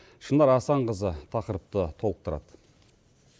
шынар асанқызы тақырыпты толықтырады